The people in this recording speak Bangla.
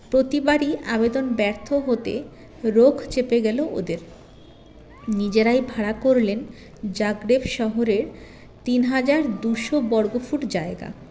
প্রতিবারই আবেদন ব্যর্থ হতে রোখ চেপে গেলো ওদের নিজেরাই ভাড়া করলেন জাগরেব শহরের তিন হাজার দুশো বর্গফুট জায়গা